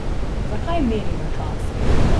Zakaj merimo čas?